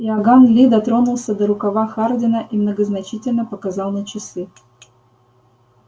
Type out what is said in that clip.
иоганн ли дотронулся до рукава хардина и многозначительно показал на часы